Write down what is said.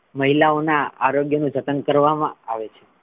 મહિલાઓના આરોગ્યનું જતન કરવામા આવે છે.